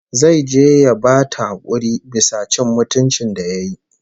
Zai je ya bata hakuri bisa cin mutuncin ta da yayi